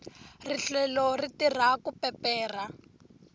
rihlelo ri tirha ku peperha